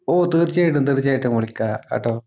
ഓഹ് തീർച്ചയായിട്ടും തീർച്ചയായിട്ടും വിളിക്കാം കേട്ടോ